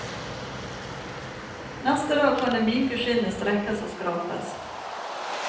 Neste dag kan det myke skinnet strekkes og skrapes.